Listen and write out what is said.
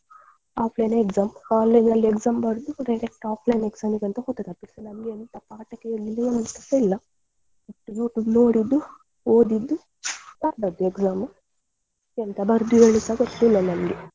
ಆದ್ಮೇಲೆ exam online ನಲ್ಲಿ exam ಮಾಡಿದ್ದು ಕೊನೆಗೆ offline ನಲ್ಲಿ exam ಗೆ ಹೋದದ್ದು ನಮ್ಗೆ ಎಂತ ಪಾಠ ಕೇಳಿಲ್ಲ ಎಂತದೂ ಇಲ್ಲ YouTube ನೋಡಿದ್ದು ಓದಿದ್ದು ಬರದದ್ದು exam ಎಂತ ಬರ್ದಿರೋದುಸ ಗೊತ್ತಿಲ್ಲ ನಂಗೆ.